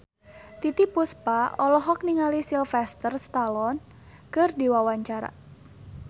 Titiek Puspa olohok ningali Sylvester Stallone keur diwawancara